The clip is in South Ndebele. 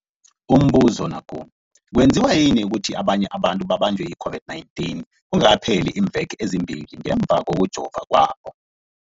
Umbuzo, kwenziwa yini ukuthi abanye abantu babanjwe yi-COVID-19 kungakapheli iimveke ezimbili ngemva kokujova kwabo?